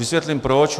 Vysvětlím proč.